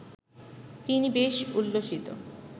তিনি বেশ উল্লসিত